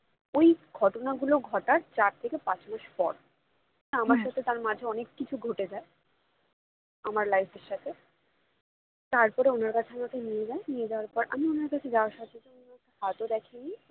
ওই ঘটনা গুলো ঘটার চার থেকে পাঁচ মাস পর আমার সাথে তার মাঝে অনেক কিছু ঘটে যায় আমার life এর সাথে তারপর ওনার কাছে আমাকে নিয়ে যান নিয়ে যাওয়ার পর আমি ওনার কাছে যাওয়ার সাথে সাথে উনি হাতও দেখেননি